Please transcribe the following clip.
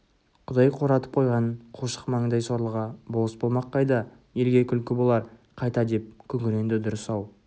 құдай қуратып қойған қушық маңдай сорлыға болыс болмақ қайда елге күлкі болар қайта деп күңіренді дұрыс-ау